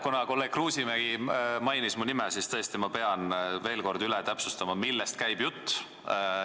Kuna kolleeg Kruusimägi mainis mu nime, siis ma pean veel kord täpsustama, millest käib jutt.